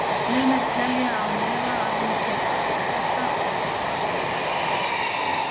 Sumir telja án efa að hún sé enskusletta og því ekki æskileg.